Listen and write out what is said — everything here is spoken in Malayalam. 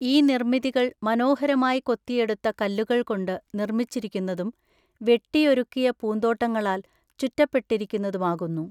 ഈ നിര്‍മ്മിതികള്‍ മനോഹരമായി കൊത്തിയെടുത്ത കല്ലുകൾ കൊണ്ട് നിർമ്മിച്ചിരിക്കുന്നതും, വെട്ടിയൊരുക്കിയ പൂന്തോട്ടങ്ങളാൽ ചുറ്റപ്പെട്ടിരിക്കുന്നതുമാകുന്നു.